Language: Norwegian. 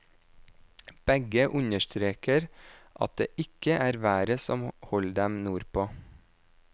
Begge understreker at det ikke er været som holder dem nordpå.